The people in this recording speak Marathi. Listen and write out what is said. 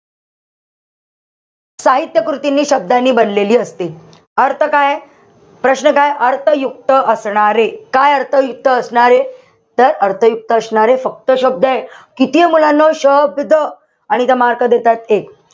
साहित्य कृती हि शब्दांनी बनलेली असते. अर्थ काय? प्रश्न काय? अर्थयुक्त असणारे, काय अर्थयुक्त असणारे? तर अर्थयुक्त असणारे फक्त शब्द ए. कितीये मुलांनो शब्द आणि इथे mark देताय एक.